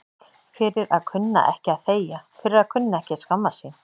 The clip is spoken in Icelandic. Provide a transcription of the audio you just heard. Fyrir að kunna ekki að þegja, fyrir að kunna ekki að skammast sín.